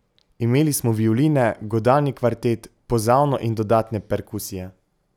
Imeli smo violine, godalni kvartet, pozavno in dodatne perkusije.